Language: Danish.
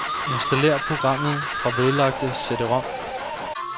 Installér programmet fra vedlagte cd-rom.